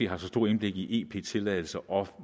har så stort indblik i ep tilladelser og